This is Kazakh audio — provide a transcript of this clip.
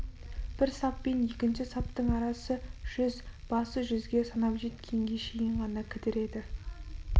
бір сап пен екінші саптың арасы жүз басы жүзге санап жеткенге шейін ғана кідіреді